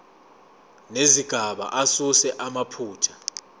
nezigaba asuse amaphutha